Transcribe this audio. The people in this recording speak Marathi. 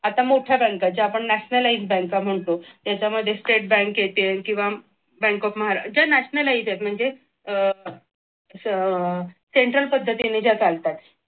आता मोठ्या बँक आपण nationalize बँका म्हणतो त्याच्यामध्ये state bank येते किंवा bank of Maharashtra ज्या nationalize आहेत म्हणजे central पद्धतीने ज्या चालतात